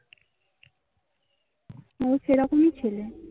অ সেরকম মএ ছেলে